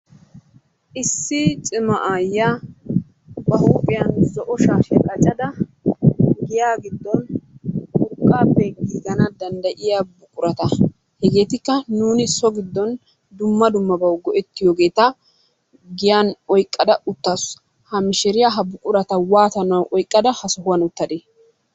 Issi cima aayyiya ba huuphiyan zo'o shashshiya qaccada giya giddon urqqappe giigana danddayiya buqurata, hegetikka nuuni so giddon dumma dummabaw go"ettiyogeeta giyan oyqqada uttaasu. Ha mishiriya ha buqurata waatanaw oyqqada ha sohowan uttade?